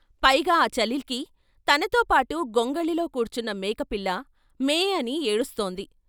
పైగా ఆ చలికి తనతో పాటు గొంగళిలో కూర్చున్న మేకపిల్ల'మే ' అని ఏడుస్తోంది.